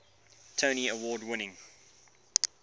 tony award winning